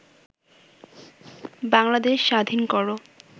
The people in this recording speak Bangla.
বাংলাদেশ স্বাধীন করো